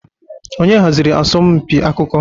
Onye haziri asọmpi akụkọ?